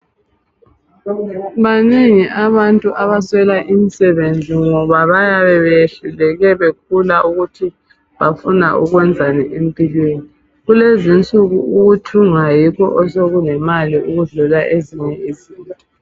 Banengi abantu abaswela imisebenzi ngoba bayabe beyehluleke bekhula ukuthi bafuna ukwenzani empilweni. Kulezi nsuku ukuthunga yikho osokulemali ukudlula ezinye izinto.